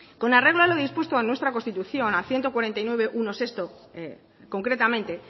con arreglo a lo dispuesto en nuestra constitución al ciento cuarenta y nueve punto uno punto seis concretamente